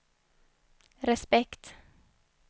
respekt